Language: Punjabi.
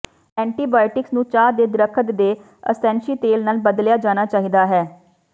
ਐਂਟੀਬਾਇਓਟਿਕਸ ਨੂੰ ਚਾਹ ਦੇ ਦਰੱਖਤ ਦੇ ਅਸੈਂਸ਼ੀ ਤੇਲ ਨਾਲ ਬਦਲਿਆ ਜਾਣਾ ਚਾਹੀਦਾ ਹੈ